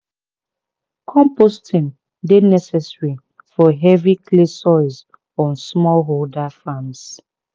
composting dey necessary for heavy clay soils on smallholder farms."